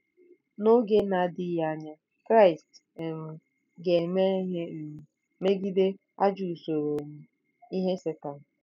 N’oge na-adịghị anya, Kraịst um ga-eme ihe um megide ajọ usoro um ihe Setan.